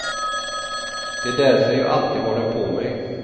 Det är därför jag alltid har den på mig.